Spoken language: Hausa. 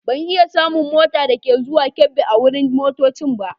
Ban iya samun mota dake zuwan Kebbi a wurin motoccin ba.